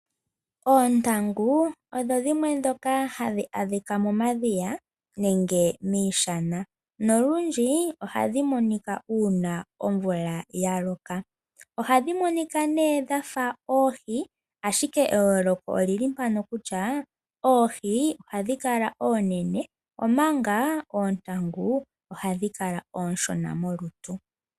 Oontangu odho dhimwe ndhoka hadhi adhika momadhiya nenge miishana. Nolundji, ohadhi monika uuna omvula yaloka. Ohadhi monika nee dhafa oohi, ashike eyooloko olili mpano kutya, oohi ohadhi kala oonene, omanga oontangu ohadhi kala oonshona molutu.